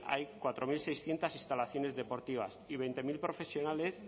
hay cuatro mil seiscientos instalaciones deportivas y veinte mil profesionales